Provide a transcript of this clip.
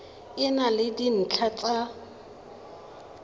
e na le dintlha tsa